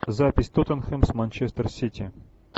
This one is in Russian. запись тоттенхэм с манчестер сити